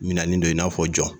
Minɛnen don i n'a fɔ jɔn!